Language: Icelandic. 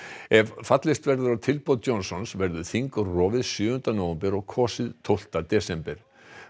ef fallist verður á tilboð Johnsons verður þing rofið sjöunda nóvember og kosið tólfta desember